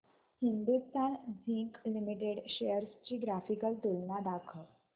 Hindustan zinc limited shares ची graphical तुलना दाखव